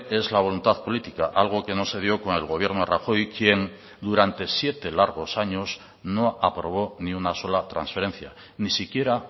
es la voluntad política algo que no se dio con el gobierno rajoy quien durante siete largos años no aprobó ni una sola transferencia ni siquiera